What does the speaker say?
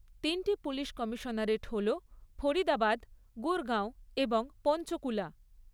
তিনটি police commissionerate হল ফরিদাবাদ, গুরগাঁও এবং পঞ্চকুলা।